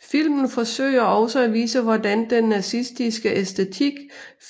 Filmen forsøger også at vise hvordan den nazistiske æstetik